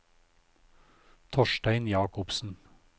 Torstein Jacobsen